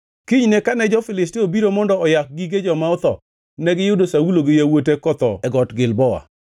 Kinyne kane jo-Filistia obiro mondo oyak gige joma otho, negiyudo Saulo gi yawuote kotho e Got Gilboa.